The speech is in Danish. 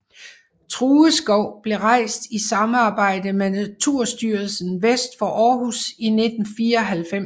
True Skov blev rejst i samarbejde med Naturstyrelsen vest for Aarhus i 1994